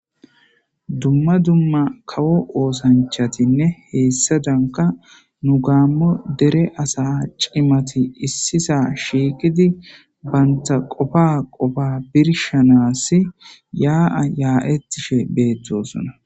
Dumma dumma kawo oosanchatinne hessaadankka nu gaammo dere asa cimati issisa shiiqidi bantta qofa qofa birshanaas yaa7a yaa7ettishe beettoosona.